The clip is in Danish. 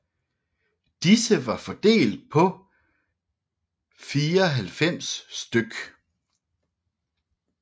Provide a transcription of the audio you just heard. Disse var fordelt på 94 stk